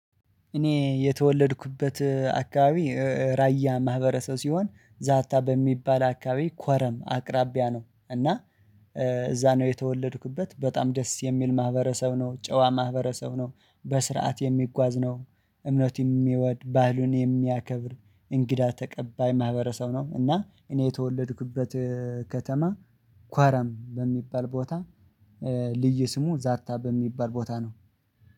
እኔ የተወለድኩበት አካባቢ ራያ ማህበረሰብ ሲሆን ዛታ በሚባል አካባቢ ኮረም አቅራቢያ ነው። እና እዛ ነው የተወለድኩበት በጣም ደስ የሚል ማህበረሰብ ነው ጨዋ ማህበረሰብ ነው። በስርዓት የሚጓዝ ነው። እምነት የሚወድ ባህሉን የሚያከብር እንግዳ ተቀባይ ማህበረሰብ ነው። እና እኔ የተወለድኩበት ከተማ ኳረም በሚባል ቦታ ልዩ ስሙ ዛታ በሚባል ቦታ ነው